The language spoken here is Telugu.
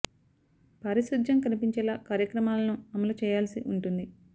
పా రిశుధ్యం కనిపించేలా కార్యక్రమాలను అ మలు చే యాల్సి ఉంటుంది